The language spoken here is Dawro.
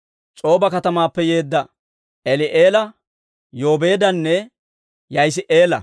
S'ooba katamaappe yeedda Eli'eela, Yoobeedanne Ya'isi'eela.